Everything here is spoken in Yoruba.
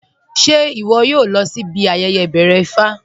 Ṣẹ iwọ̀ yóò lọ̀ sí ibi ayẹyẹ ibẹ̀rẹ̀ Ifá?